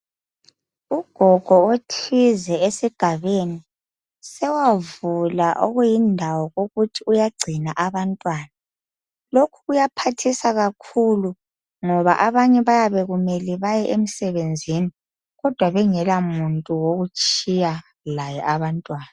Ugogo othize esigabeni sewavula okuyindawo okuthi uyagcina abantwana . Lokhu kuyaphathisa kakhulu ngoba abanye bayekumele bahambe emsebenzi kodwa bengela muntu wokutshiya laye abantwana.